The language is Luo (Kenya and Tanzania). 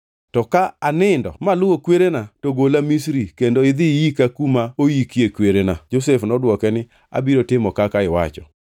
to ka anindo maluwo kwerena, to gola Misri kendo idhi iyika kuma oikie kwerena.” Josef nodwoke ni, “Abiro timo kaka iwacho.”